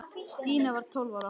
Stína var tólf ára.